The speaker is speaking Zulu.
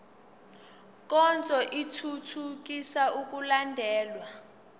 nkonzo ithuthukisa ukulandelwa